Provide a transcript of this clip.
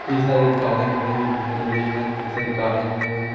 कई सारी कारें खड़ी हुई दिखाई दे रही हैं एक लाइन से कई सारी कारें खड़ी हुई हैं।